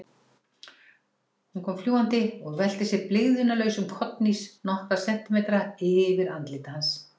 Hún kom fljúgandi og velti sér í blygðunarlausum kollhnís nokkra sentimetra yfir andliti hans.